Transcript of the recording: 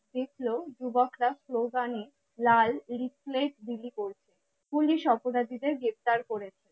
দেখলো যুবকরা স্লোগানে লাল leaflet বিলি করছে পুলিশ অপরাধীদের গ্রেফতার করে নিলো